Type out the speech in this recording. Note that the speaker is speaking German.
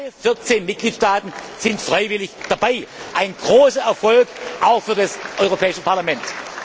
Alle 14 Mitgliedstaaten sind freiwillig dabei, ein großer Erfolg auch für das Europäische Parlament.